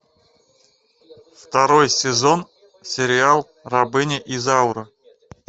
второй сезон сериал рабыня изаура